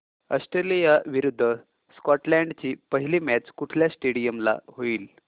Australia विरुद्ध Scotland ची पहिली मॅच कुठल्या स्टेडीयम ला होईल